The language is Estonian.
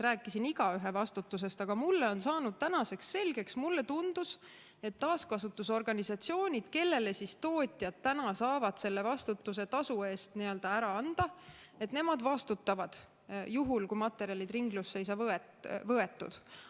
Rääkisin igaühe vastutusest, aga mulle on tänaseks saanud selgeks, mulle tundus, et taaskasutusorganisatsioonid, kellele tootjad täna saavad selle vastutuse tasu eest ära anda, nemad vastutavad juhul, kui materjalid ringlusse ei saa võetud.